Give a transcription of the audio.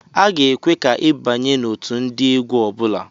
A ga-ekwe ka i abanye n'otu ndị egwu ọbụla.